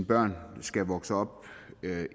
børn skal vokse op